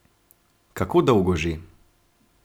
Kako dolgo že?